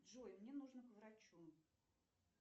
джой мне нужно к врачу